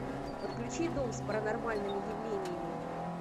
подключи дом с паранормальными явлениями